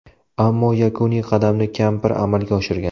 Ammo yakuniy qadamni kampir amalga oshirgan.